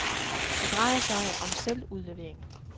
Det drejer sig om selvudlevering.